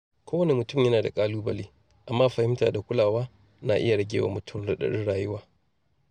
Kowane mutum yana da ƙalubale, amma fahimta da kulawa na iya rage wa mutum raɗaɗin rayuwa.